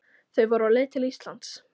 Þau voru á leið til Íslands.